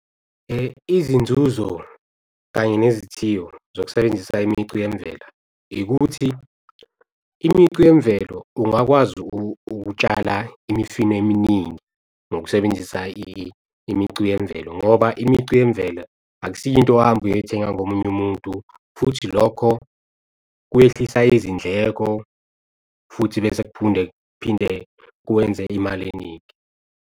Izinzuzo kanye nezithiyo zokusebenzisa imicu yemvela ikuthi, imicu yemvelo ungakwazi ukutshala imifino eminingi ngokusebenzisa imicu yemvelo ngoba imicu yemvela akusiyo into ohambe uyoy'thenga komunye umuntu futhi lokho kwehlisa izindleko, futhi bese kuphinde kwenze imali eningi.